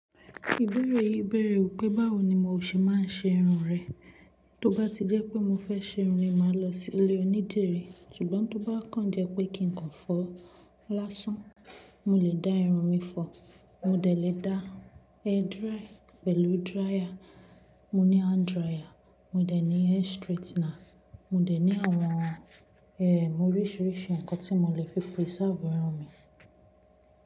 Ìbéèrè yi béèrè wipé báwo ni mo ṣe máa ń ṣe irun rẹ. Tó bá ti jẹ́ pé mo fẹ́ ṣe irun mi, màá lọ sí ilé onídìrí. Ṣùgbọ́n tó bá kàn jẹ́ pé kí n kàn fọ lásán, mo lè dá irun mi fọ. Mo dẹ̀ lè dá hair dry pẹ̀lú dryer. Mo ní hand dryer, mo dẹ̀ ní hair straightener, mo dẹ̀ ní àwọn, oríṣiríṣi nǹkan tí mo lè fi preserve irun mi.